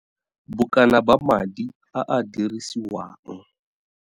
Bokana ba madi a a dirisiwang.